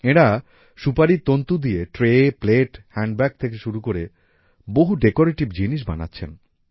এঁরা সুপারির তন্তু দিয়ে ট্রে প্লেট হ্যান্ডব্যাগ থেকে শুরু করে বহু ডেকোরেটিভ জিনিস বানাচ্ছেন